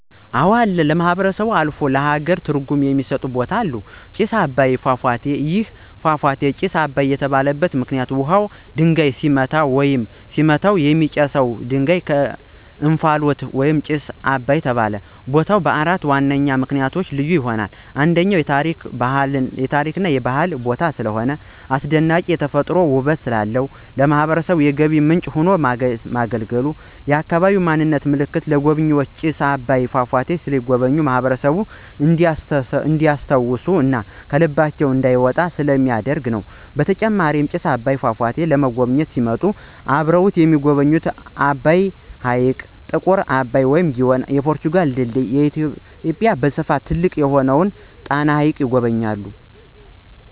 አወ አለ ለማህበረሰቡ አልፎ ለሃገር ትርጉም የሚስጥ ቦታ አለ። ጭስ አባይ ፏፏቴ። ይህ ፏፏቴ ጭስ አባይ የተባለበት ምክንይት ውሃውና ድንጋዩ ሲገናኙ ወይም ሲመታቱ የሚወጣው ጭስ /እንፍሎት ምክንያት ጭስ አባይ ተባለ። ቦታው በአራት ዋነኛ ምክንያቶች ልዩ ይሆናል። 1, ከፍተኛ የታሪክ እና የባህል ቦታ ስለሆነ። 2, አስደናቂ የተፈጥሮ ውበት ስላለው። 3, ለማህበረሰቡ የገቢ ምንጭ ሆኖ በማገልገሉ። 4, የአካባቢ ማንነት ምልክት ወይም ለጎብኝዎች ጭስ አባይ ፏፏቴ ሲጎበኙ ማህበረሰቡን እንዲስታውሱ እና ከልባቸው እንዳይወጣ ስለሚደረግ ነው። በተጨማሪም ጭስ አባይን ፏፏቴን ለመጎብኝት ሲመጡ አብረው የሚጎበኙት አባይ ሕይቅ፣ ጥቁር አባይ ወንዝ(ግዮን) ፣የፖርቱጋል ድልድይ እና በኢትዮጵያ በስፍት ትልቅ የሆነውን ጣና ሀይቅን ይጎበኛሉ።